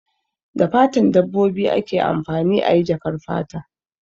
Da fatan dabbobi ake amfani ayi jakar fata